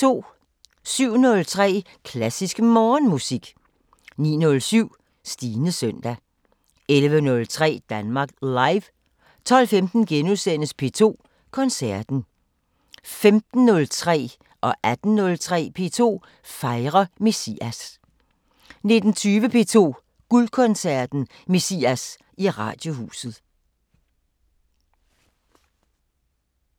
07:03: Klassisk Morgenmusik 09:07: Stines søndag 11:03: Danmark Live 12:15: P2 Koncerten * 15:03: P2 fejrer Messias 18:03: P2 fejrer Messias 19:20: P2 Guldkoncerten: Messias i Radiohuset